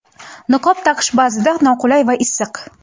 Niqob taqish ba’zida noqulay va issiq.